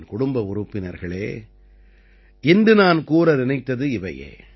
என் குடும்ப உறுப்பினர்களே இன்று நான் கூற நினைத்தது இவையே